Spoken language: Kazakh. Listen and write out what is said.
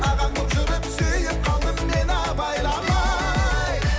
ағаң болып жүріп сүйіп қалдым мен абайламай